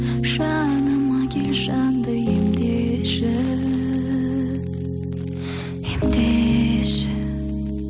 жаныма кел жанды емдеші емдеші